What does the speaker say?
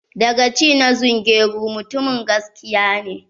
Dagaci na zungeru mutumin gaskiya ne.